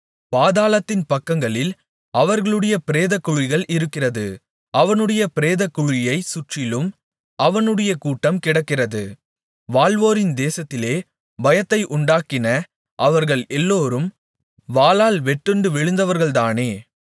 பாதாளத்தின் பக்கங்களில் அவர்களுடைய பிரேதக்குழிகள் இருக்கிறது அவனுடைய பிரேதக்குழியைச் சுற்றிலும் அவனுடைய கூட்டம் கிடக்கிறது வாழ்வோரின் தேசத்திலே பயத்தை உண்டாக்கின அவர்கள் எல்லோரும் வாளால் வெட்டுண்டு விழுந்தவர்கள்தானே